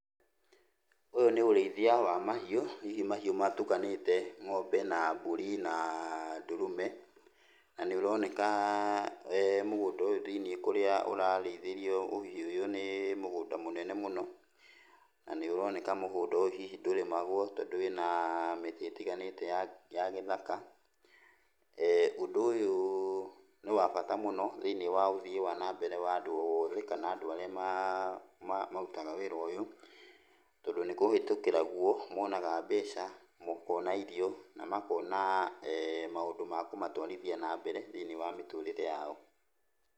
Ũyũ nĩ ũrĩithia wa mahiũ, hihi mahiũ matukanĩte ng'ombe na mbũri na ndũrũme, na nĩũroneka mũgũnda thĩiniĩ kũrĩa ũrarĩithĩrio ũhiũ ũyũ nĩ mũgũnda mũnene mũno. Na nĩũroneka mũgũnda ũyũ hihi ndũrĩmagwo tondũ wĩna mĩtĩ ĩtiganĩte ya ya gĩthaka. Ũndũ ũyũ nĩwabata mũno thĩiniĩ wa ũthii wa nambere wa andũ othe, kana andũ arĩa marutaga wĩra ũyũ. Tondũ nĩkũhĩtũkĩra guo monaga mbeca, makona irio, na makona maũndũ ma kũmatwarithia nambere thĩiniĩ wa mĩtũrĩre yao.